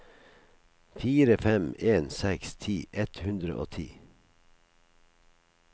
fire fem en seks ti ett hundre og ti